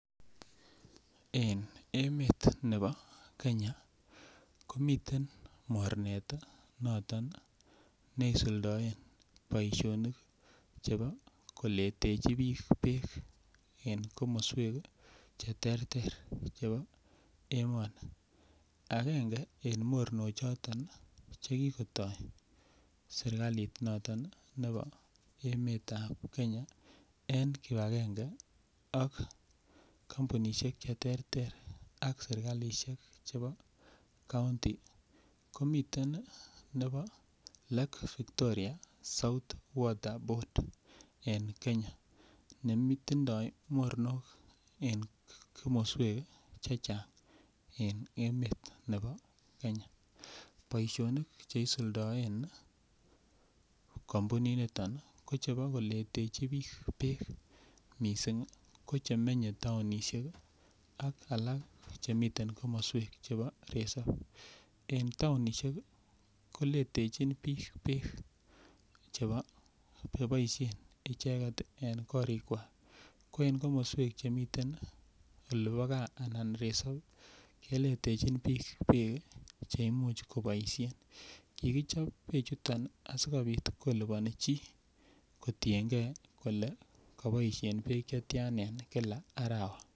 En emet nebo Kenya komiten mornet noton neisuldoen boishonik chebo koletechi bik beek en komoswek cheterter chebo emoni, agenge en moronok choto nii chekikoto sirkali noton nebo emetab Kenya en kipagenge ak kompunit cheterter ak sirkalishek chebo county komiten nebo[ca] lake Victoria south water board en Kenya nemiten netindo moronok en komoswek Chechang en emet nebo Kenya. Boishonik cheisuldoen kompunit niton nii ko chebo koletechi bik beek missingi ko chemenye townishek ak alak chemiten komoswek chebo resop, en townishek koletechi bik beek chebo cheboishen icheket en korikwak ko en komoswek chemiten olibo gaa ana resop keletechin bik beek kii cheimuch koboishen. Kokichob beek chuton asikopit kiliboni chii kotiyengee kole koboishen beek chetyan en kila arawa.